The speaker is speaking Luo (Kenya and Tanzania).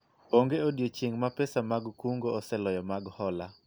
onge odiochieng' ma pesa mag kungo oseloyo mag hola